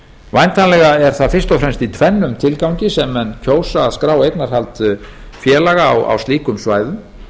væntanlega er það fyrst og fremst í tvennum tilgangi sem menn kjósa að skrá eignarhald félaga á slíkum svæðum